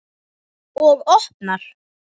Og opnar.